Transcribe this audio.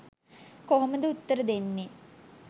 කොහොමද උත්තර දෙන්නේ